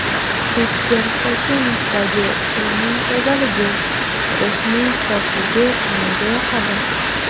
O‘tkir Hoshimovdagi tilning tozaligi, ruhning sofligi menga yoqadi.